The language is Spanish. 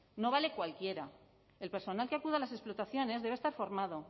no vale cualquiera el personal que acuda a las explotaciones debe estar formado